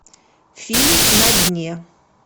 фильм на дне